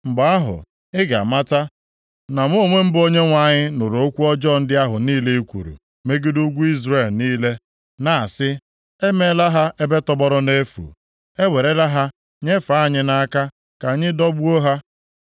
Mgbe ahụ, ị ga-amata na mụ onwe m bụ Onyenwe anyị nụrụ okwu ọjọọ ndị ahụ niile i kwuru megide ugwu Izrel niile, na-asị, “E meela ha ebe tọgbọrọ nʼefu, ewerela ha nyefee anyị nʼaka ka anyị dọgbuo ha.”